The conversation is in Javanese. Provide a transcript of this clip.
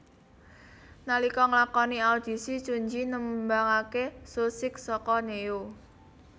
Nalika nglakoni audisi ChunJi nembangaké So Sick saka Ne Yo